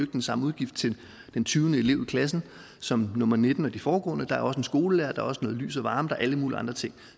den samme udgift til den tyvende elev i klassen som nummer nitten og de foregående der er også en skolelærer der er også noget lys og varme der er alle mulige andre ting